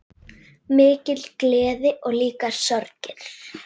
Mikil gleði og líka sorgir.